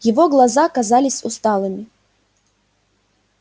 его глаза казались усталыми